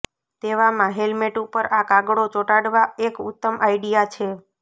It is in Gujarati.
તેવામાં હેલમેટ ઉપર આ કાગળો ચોટાડવા એક ઉત્તમ આઈડિયા છે